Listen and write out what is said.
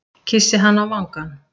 Kyssi hana á vangann.